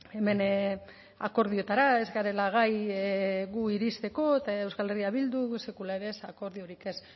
hemen akordioetara ez garela gai gu iristeko eta euskal herria bildu sekula ere ez akordiorik ez